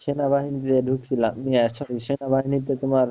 সেনাবাহিনীতে ঢুকছিলাম সেনাবাহিনীতে তোমার,